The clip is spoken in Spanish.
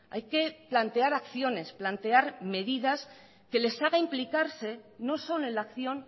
hay que plantear acciones plantear medidas que les haga implicarse no solo en la acción